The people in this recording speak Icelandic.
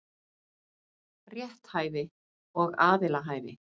Rétthæfi og aðilahæfi.